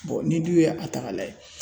ni dun ye a ta k'a lajɛ